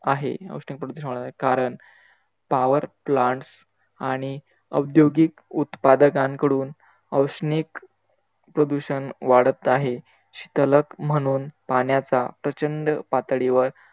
आहे, औष्णिक प्रदूषण वाढत आहे कारण, power plants आणि औद्योगिक उत्पादतांकडून औष्णिक प्रदूषण वाढत आहे. शीतलक म्हणून पाण्याचा प्रचंड पातळीवर